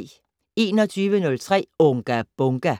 21:03: Unga Bunga!